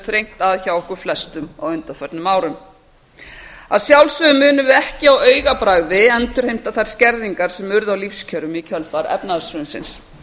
þrengt að hjá okkur flestum á undanförnum árum að sjálfsögðu munum við ekki á augabragði endurheimta þær skerðingar sem urðu á lífskjörum í kjölfar efnahagshrunsins